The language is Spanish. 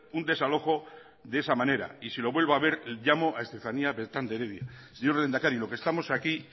un desalojo de esa manera y si lo vuelvo a ver llamo a estefanía beltrán de heredia señor lehendakari lo que estamos aquí